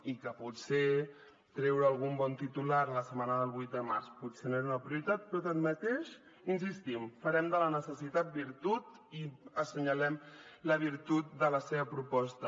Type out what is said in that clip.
i que potser treure algun bon titular la setmana del vuit de març potser no era una prioritat però tanmateix hi insistim farem de la necessitat virtut i assenyalem la virtut de la seva proposta